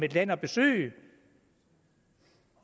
land at besøge